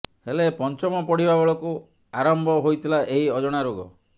ହେଲେ ପଞ୍ଚମ ପଢିବା ବେଳକୁ ଆରମ୍ଭ ହୋଇଥିଲା ଏହି ଅଜଣା ରୋଗ